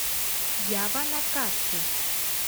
ява на карте